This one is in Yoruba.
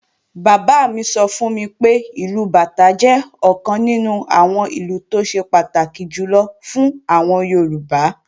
Bàbá mi sọ fún mi pé, ìlù bàtá jẹ́ ọ̀kan nínú àwọn ìlù tó ṣe pàtàkì jùlọ fún àwọn Yorùbá